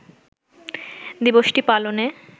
দিবসটি পালনে